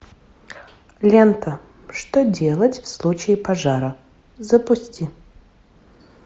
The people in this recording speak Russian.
лента что делать в случае пожара запусти